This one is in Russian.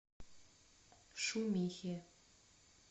шумихе